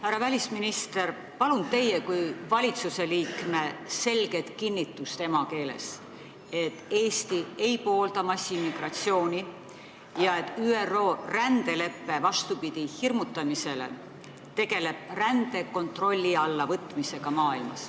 Härra välisminister, palun teie kui valitsusliikme selget kinnitust emakeeles, et Eesti ei poolda massiimmigratsiooni ja et ÜRO rändelepe, vastupidi hirmutamisele, tegeleb rände kontrolli alla võtmisega maailmas.